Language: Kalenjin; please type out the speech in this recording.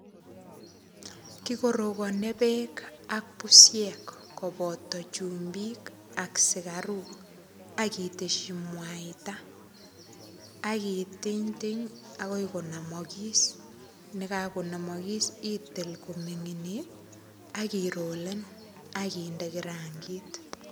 Kikorakani beek ak busiek koboto chumbik ak sikaruk. Akiteshi mwaita, akitinytiny akoi konamakis. Nekakonamakis, itil kominginit, akirolen, akinde kirangit.